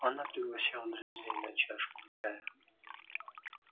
она пригласила друзей на чашку чая